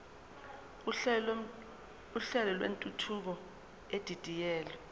uhlelo lwentuthuko edidiyelwe